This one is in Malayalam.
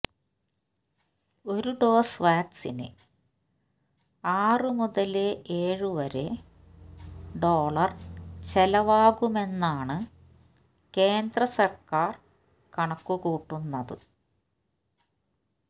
ഒരു ഡോസ് വാക്സിന് ആറ് മുതല് ഏഴു വരെ ഡോളര് ചെലവാകുമെന്നാണ് കേന്ദ്ര സര്ക്കാര് കണക്കുകൂട്ടുന്നത്